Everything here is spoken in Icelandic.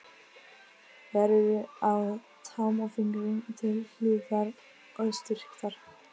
Þær eru á tám og fingrum til hlífðar og styrktar.